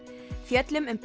fjöllum um